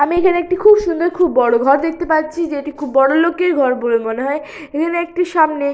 আমি এখানে একটি খুব সুন্দর খুব বড় ঘর দেখতে পাচ্ছি যেটি খুব বড় লোকের ঘর বলে মনে হয় এখানে একটি সামনে --